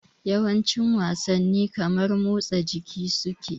Yawancin wasanni kamar mutsa jiki suke